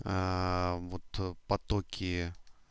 вот потоки